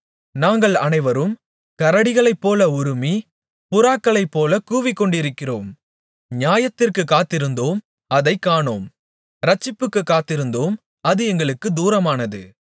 நாங்கள் அனைவரும் கரடிகளைப்போல உறுமி புறாக்களைப்போலக் கூவிக்கொண்டிருக்கிறோம் நியாயத்திற்குக் காத்திருந்தோம் அதைக் காணோம் இரட்சிப்புக்குக் காத்திருந்தோம் அது எங்களுக்குத் தூரமானது